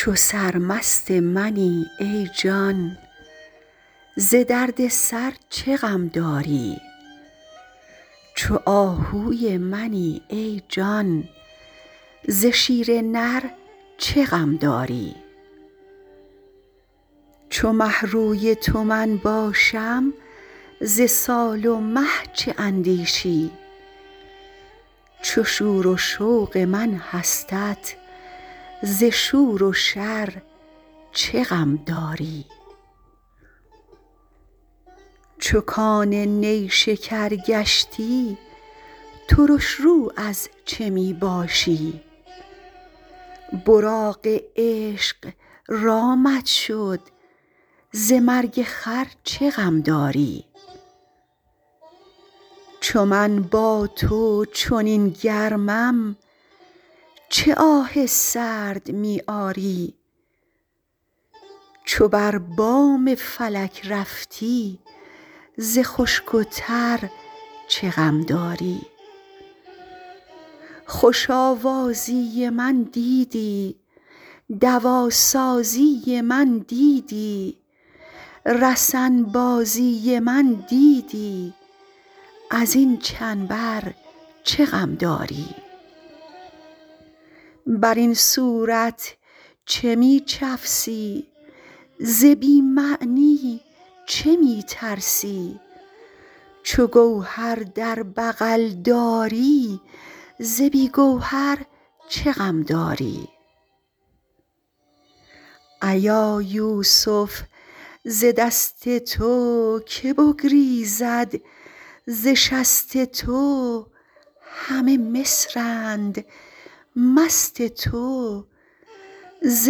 چو سرمست منی ای جان ز درد سر چه غم داری چو آهوی منی ای جان ز شیر نر چه غم داری چو مه روی تو من باشم ز سال و مه چه اندیشی چو شور و شوق من هستت ز شور و شر چه غم داری چو کان نیشکر گشتی ترش رو از چه می باشی براق عشق رامت شد ز مرگ خر چه غم داری چو من با تو چنین گرمم چه آه سرد می آری چو بر بام فلک رفتی ز خشک و تر چه غم داری خوش آوازی من دیدی دواسازی من دیدی رسن بازی من دیدی از این چنبر چه غم داری بر این صورت چه می چفسی ز بی معنی چه می ترسی چو گوهر در بغل داری ز بی گوهر چه غم داری ایا یوسف ز دست تو که بگریزد ز شست تو همه مصرند مست تو ز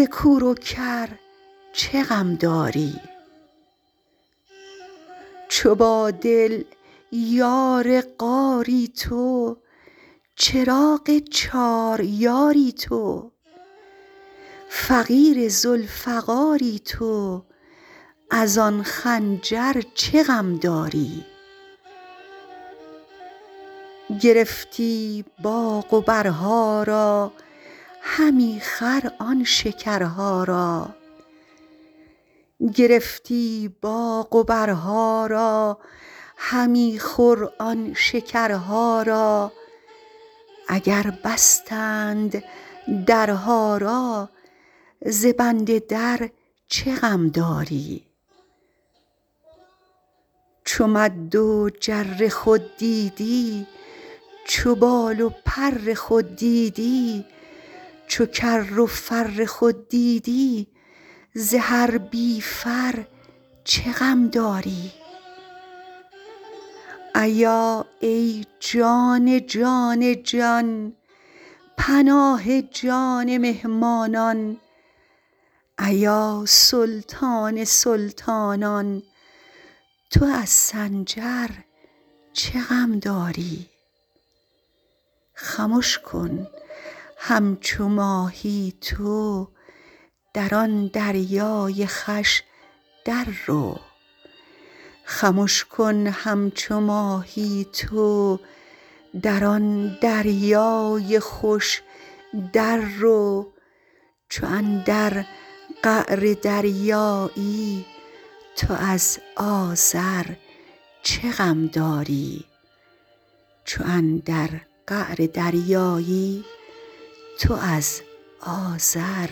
کور و کر چه غم داری چو با دل یار غاری تو چراغ چار یاری تو فقیر ذوالفقاری تو از آن خنجر چه غم داری گرفتی باغ و برها را همی خور آن شکرها را اگر بستند درها را ز بند در چه غم داری چو مد و جر خود دیدی چو بال و پر خود دیدی چو کر و فر خود دیدی ز هر بی فر چه غم داری ایا ای جان جان جان پناه جان مهمانان ایا سلطان سلطانان تو از سنجر چه غم داری خمش کن همچو ماهی تو در آن دریای خوش دررو چو اندر قعر دریایی تو از آذر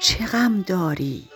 چه غم داری